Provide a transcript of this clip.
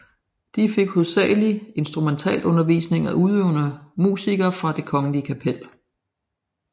De fik hovedsagelig instrumentalundervisning af udøvende musikere fra Det Kongelige Kapel